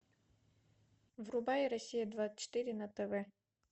врубай россия двадцать четыре на тв